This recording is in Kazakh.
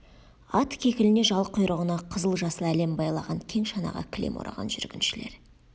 ат кекіліне жал құйрығына қызыл-жасыл әлем байлаған кең шанаға кілем ораған жүргіншілер